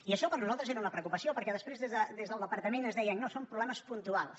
i això per a nosaltres era una preocupació perquè després des del departament es deia no són problemes puntuals